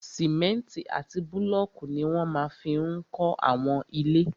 Sìmẹ́ntì àti búlọ̀kù ní wọ́n máa fi n kọ́ àwọn ilé